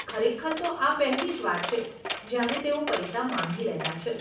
ખરેખર તો આ પહેલી જ વાર છે, જયારે તેઓ પૈસા માંગી રહ્યાં છે.